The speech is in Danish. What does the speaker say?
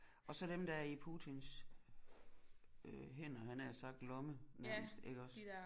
Og så dem der er i Putins øh hænder havde jeg nær sagt lomme nærmest iggås